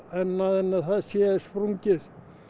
annað en það sé sprungið